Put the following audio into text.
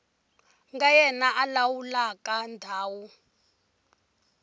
nga yena a lawulaka ndhawu